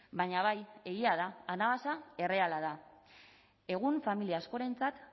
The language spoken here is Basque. baina bai egia da anabasa erreala da egun familia askorentzat